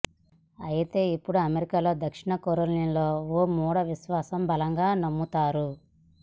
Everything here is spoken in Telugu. అయితే ఇప్పుడు అమెరికాలో దక్షిణ కరోలినా లో ఓ మూడా విశ్వాసం బలంగా నమ్ముతారు